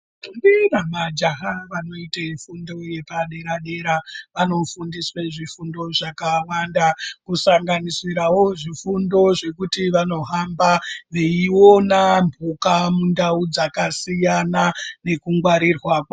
Ndombi namajaha vanoite fundo yepadera dera vanofundiswe zvifundo zvakawanda kusanganisirawo zvifundo zvekuti vanohamba veiona mhuka mundau dzakasiyana nekungwarirwa kwa.....